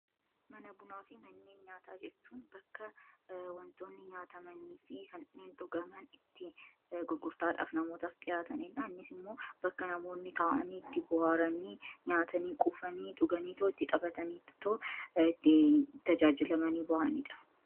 mana bunaa fi manneen nyaata jechuun bakka wantoonni nyaatamanii fi kanneen dhugaman itti gurgurtaadhaaf namoota dhihaataniidha annis immoo bakka namoonni taawanii itti buhaaranii nyaatanii quufanii dhuganii too itti xaphataniitoo itti tajaajilamanii bu'aniidha